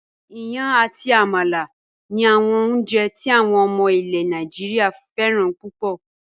Iyán àti àmàlà ni àwọn oúnjẹ tí àwọn ọmọ ilẹ̀ Nàìjíríà fẹ́ràn púpọ̀